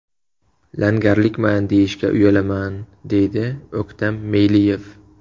Langarlikman deyishga uyalaman, deydi O‘ktam Meyliyev.